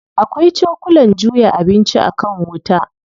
Akwai cokulan juya abinci a kan wuta.